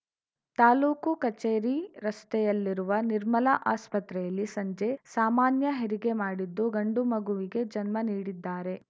ತಾಲೂಕು ಕಚೇರಿ ರಸ್ತೆಯಲ್ಲಿರುವ ನಿರ್ಮಲ ಆಸ್ಪತ್ರೆಯಲ್ಲಿ ಸಂಜೆ ಸಾಮಾನ್ಯ ಹೆರಿಗೆ ಮಾಡಿದ್ದು ಗಂಡು ಮಗುವಿಗೆ ಜನ್ಮ ನೀಡಿದ್ದಾರೆ